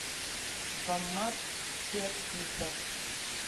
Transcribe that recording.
баммат фиактисов